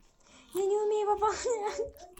я не умею пополнять